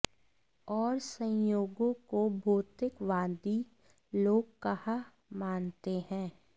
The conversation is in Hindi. और संयोगों को भौतिकवादी लोग कहाँ मानते हैं